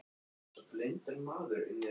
Hann var alltaf upp á kant við allt og alla.